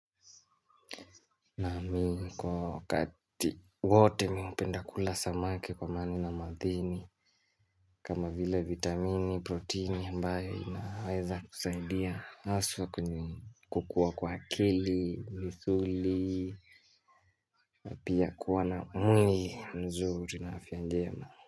Namii kwa wakati wote mimi hupenda kula samaki kwa maana ina madhini kama vile vitamini, proteini ambayo inaweza kusaidia haswa kwenye kukua kwa kili, misuli Pia kuwa na mwili mzuri na afya njema.